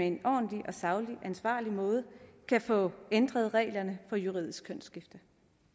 en ordentlig saglig og ansvarlig måde kan få ændret reglerne for juridisk kønsskifte